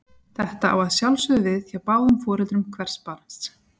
Þetta á að sjálfsögðu við hjá báðum foreldrum hvers barns.